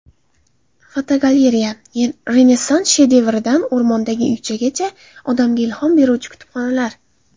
Fotogalereya: Renessans shedevridan o‘rmondagi uychagacha odamga ilhom beruvchi kutubxonalar.